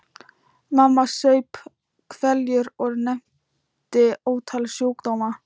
Mamma saup hveljur og nefndi ótal sjúkdóma.